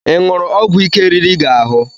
Ịṅụru ọgwụ ike riri gị ahụ?